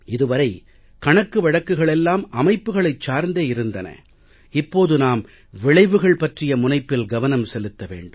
இது வரை கணக்கு வழக்குகள் எல்லாம் அமைப்புகளைச் சார்ந்தே இருந்தன இப்போது நாம் விளைவுகள் பற்றிய முனைப்பில் கவனம் செலுத்த வேண்டும்